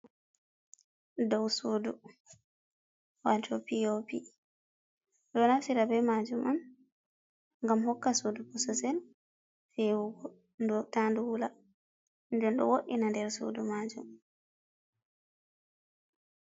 Dow suudu wato pi o pi. Ɗo naftira ɓe majum on ngam hokka suudu bosesel fewugo ndo ta ndu wula, nden ɗo wo'ina nder suudu majum.